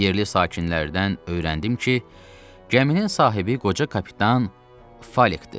Yerli sakinlərdən öyrəndim ki, gəminin sahibi qoca kapitan Falekdir.